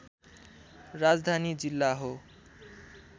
राजधानी जिल्ला हो